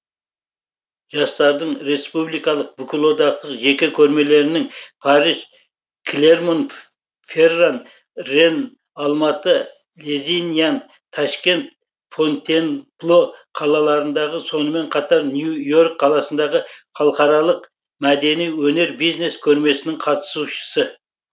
жастардың республикалық бүкілодақтық жеке көрмелерінің париж клермон ферран ренн алматы лезиньян ташкент фонтенбло қалаларындағы сонымен қатар нью йорк қаласындағы халықаралық мәдени өнер бизнес көрмесінің қатысушысы